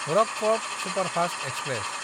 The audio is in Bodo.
Rockfort superfast express